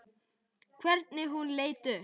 Hvernig hún leit upp.